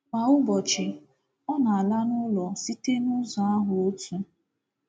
Kwa ụbọchị, ọ na-ala n’ụlọ site n’ụzọ ahụ́ otu.